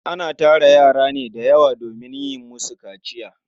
Ana tara yara ne da yawa domin yin musu kaciya.